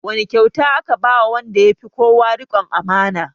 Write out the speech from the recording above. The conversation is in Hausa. Wane kyauta aka ba wa wanda ya fi kowa riƙon amana?